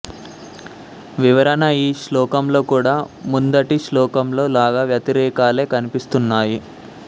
వివరణ ఈ శ్లోకంలో కూడా ముందటి శ్లోకంలో లాగా వ్యతిరేకాలే కనిపిస్తున్నాయి